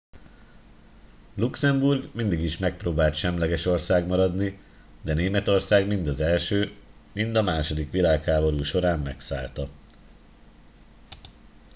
luxemburg mindig is megpróbált semleges ország maradni de németország mind az i mind a ii világháború során megszállta